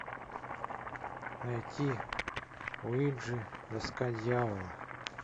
найти уиджи доска дьявола